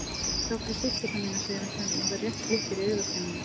Þöglu stúlkurnar mínar, segir hann stundum og það rétt glittir í augasteinana.